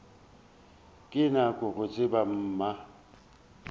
ke nyaka go tseba mma